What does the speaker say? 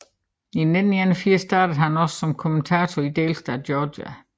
I 1981 startede han også som kommentator i delstaten Georgia